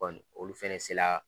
Nɔni olu fɛnɛ sela.